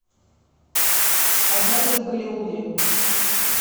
однажды в голливуде